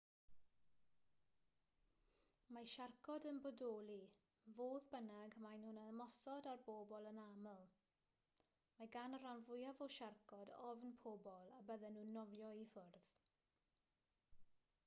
mae siarcod yn bodoli fodd bynnag maen nhw'n ymosod ar bobl yn anaml mae gan y rhan fwyaf o siarcod ofn pobl a bydden nhw'n nofio i ffwrdd